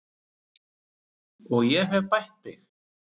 Og ég hef bætt við mig.